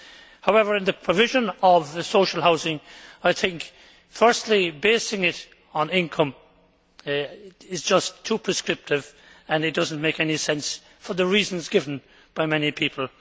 However in the provision of social housing, I think firstly basing it on income is just too prescriptive and does not make any sense for the reasons given by many people.